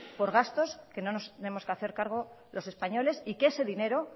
por gastos que no nos tenemos que hacer cargo los españoles y que ese dinero